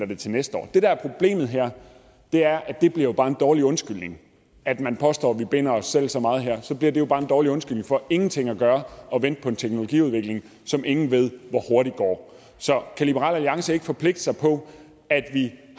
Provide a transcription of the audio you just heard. det til næste år det der er problemet her er at det jo bare bliver en dårlig undskyldning at man påstår at vi binder os selv så meget her så bliver det jo bare en dårlig undskyldning for ingenting at gøre og vente på en teknologiudvikling som ingen ved hvor hurtigt går så kan liberal alliance ikke forpligte sig på at vi